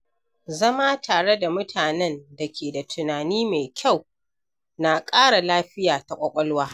Zama tare da mutanen da ke da tunani mai kyau na ƙara lafiya ta ƙwaƙwalwa.